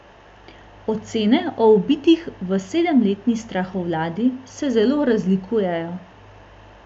Ocene o ubitih v sedemletni strahovladi se zelo razlikujejo.